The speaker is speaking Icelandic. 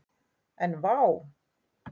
En vá!